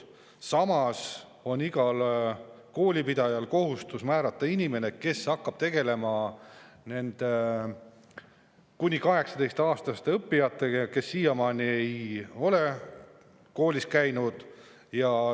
Samas on igal koolipidajal kohustus määrata inimene, kes hakkab tegelema nende kuni 18‑aastaste õppijatega, kes siiamaani ei ole koolis käinud.